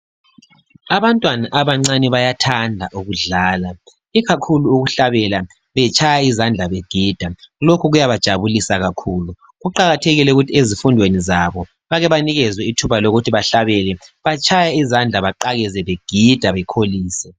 Abantwana abancane bayathanda ukudlala. Ikakhulu ukuhlabela, betshaya izandla, begida. Lokhu kuyabajabulisa kakhulu. Kuqakathekile ukuthi ezifundweni zabo, banikezwe ithuba, lokuthi batshaye izandla. Bagide bakholise.